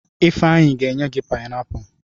Ifeanyi ga enye gi painiapulu.